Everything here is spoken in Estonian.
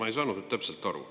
Ma ei saanud nüüd täpselt aru.